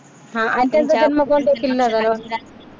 हा आणि त्यांचा जन्म कोणत्या किल्ल्यावर झाला?